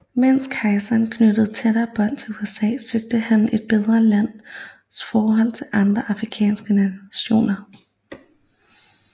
Mens kejseren knyttede tættere bånd til USA søgte han at bedre landets forhold til andre afrikanske nationer